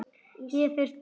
Ég fer burt.